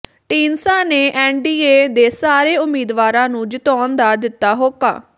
ਢੀਂਡਸਾ ਨੇ ਐੱਨਡੀਏ ਦੇ ਸਾਰੇ ਉਮੀਦਵਾਰਾਂ ਨੂੰ ਜਿਤਾਉਣ ਦਾ ਦਿੱਤਾ ਹੋਕਾ